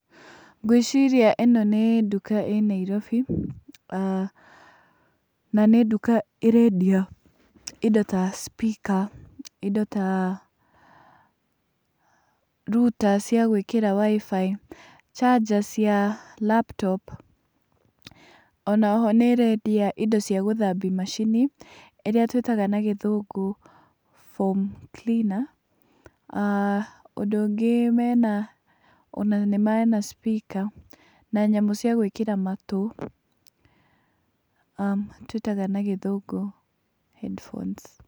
Ngwĩciria ĩno nĩ nduka ĩ Nairobi, na nĩ nduka ĩrendia indo ta speaker indo ta router cia gũĩkĩra WIFI charger cia laptop. Ona oho nĩ ĩrendia indo cia gũthambia macini ĩrĩa tũĩtaga na gĩthũngũ foam cleaner ũndũ ũngĩ mena ona na nĩ mena speaker na nyamũ cia gũĩkĩra matũ, tũĩtaga na gĩthũngũ headphones